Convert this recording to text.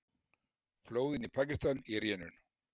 Flóðin í Pakistan í rénun